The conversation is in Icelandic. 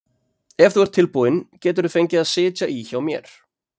Ef þú ert tilbúin geturðu fengið að sitja í hjá mér.